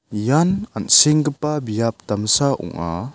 ian an·senggipa biap damsa ong·a.